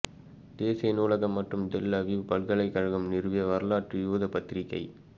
தேசிய நூலகம் மற்றும் டெல் அவீவ் பல்கலைக்கழகம் நிறுவிய வரலாற்று யூத பத்திரிகை